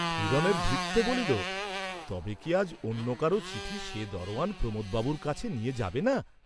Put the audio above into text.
হিরণের ভৃত্য বলিল, তবে কি আজ অন্য কারো চিঠি সে দরোয়ান প্রমোদ বাবুর কাছে নিয়ে যাবে না?